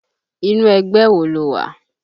Inú ẹgbẹ́ wo ló wà?